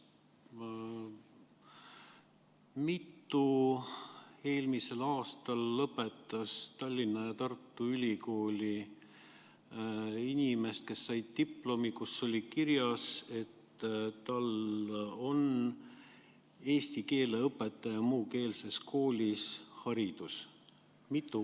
Mitu sellist inimest eelmisel aastal lõpetas Tallinna ja Tartu Ülikooli, kes said diplomi, millel oli kirjas, et tal on muukeelse kooli eesti keele õpetaja haridus.